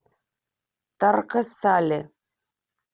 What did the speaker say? тарко сале